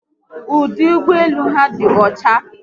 Ọdụ ụgbọelu áhù dị ọcha